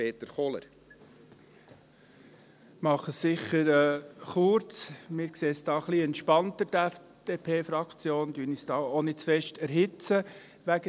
Wir, die FDP-Fraktion, sehen es ein wenig entspannter und erhitzen uns deswegen auch nicht zu sehr.